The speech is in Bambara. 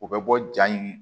O bɛ bɔ jaa in